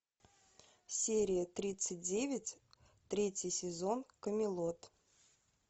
серия тридцать девять третий сезон камелот